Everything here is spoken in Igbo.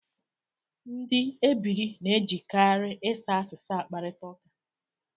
Ndị ebiri na-ejikarị ịsa asịsa akparịta ụka